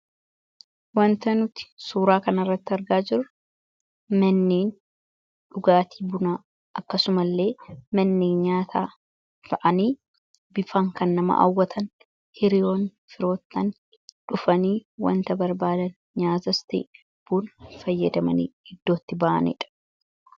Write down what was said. wanta nuti suuraa kanaarratti argaa jiru manneen dhugaatii buna akkasuma illee mannee nyaataa ta'anii bifaan kanaan nama hawwatan hiriyoonnii fi firoottan dhufanii wanta barbaadan nyaatanii bunas fayyadamanii iddootti ba'anidha.